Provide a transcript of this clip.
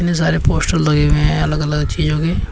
इतने सारे पोस्टर लगे हुए हैं अलग अलग चीजों के।